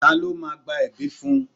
Ta ló máa gbẹ̀bi fun?